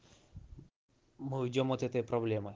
мы уйдём от этой проблемы